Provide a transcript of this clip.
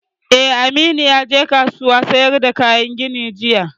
Eh, Aminu ya je kasuwan sayar da kayan gini jiya